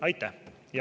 Aitäh!